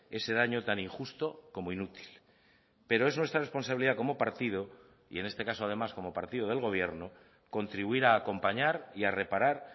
ese daño tan injusto como inútil pero es nuestra responsabilidad como partido y en este caso además como partido del gobierno contribuir a acompañar y a reparar